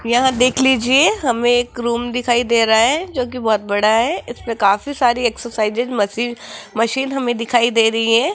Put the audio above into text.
यहां देख लीजिए हमें एक रूम दिखाई दे रहा है जो की बहोत बड़ा है इसमें काफी सारी एक्सरसाइजेज मशीज मशीन हमें दिखाई दे रही है।